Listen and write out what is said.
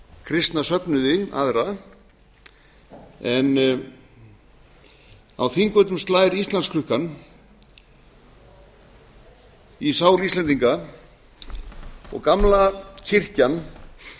kristna söfnuði aðra en á þingvöllum slær íslandsklukkan í sál íslendinga og gamla kirkjan